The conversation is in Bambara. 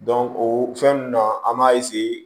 o fɛn ninnu na an b'a